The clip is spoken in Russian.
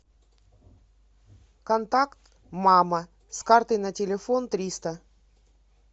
контакт мама с карты на телефон триста